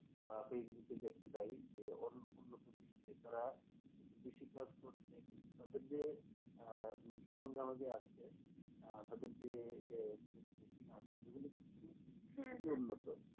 বা facebook এ দেখতে পাই যে উন্নত বিশ্বের দ্বারা কৃষি কাজ করতে কিন্তু তাদের যে আহ সরঞ্জামের আছে তাদের যে মেশিন আছে যে গুলো কিন্তু খুবই উন্নত